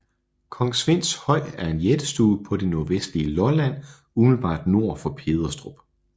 Kong Svends Høj er en jættestue på det nordvestlige Lolland umiddelbart nord for Pederstrup